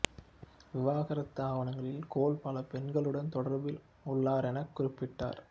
விவாகரத்து ஆவணங்களில் கோல் பல பெண்களுடன் தொடர்பில் உள்ளாரெனக் குறிப்பிட்டார்